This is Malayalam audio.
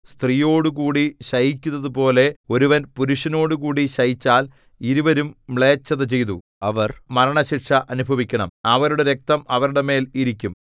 സ്ത്രീയോടുകൂടി ശയിക്കുന്നതുപോലെ ഒരുവൻ പുരുഷനോടുകൂടെ ശയിച്ചാൽ ഇരുവരും മ്ലേച്ഛത ചെയ്തു അവർ മരണശിക്ഷ അനുഭവിക്കണം അവരുടെ രക്തം അവരുടെ മേൽ ഇരിക്കും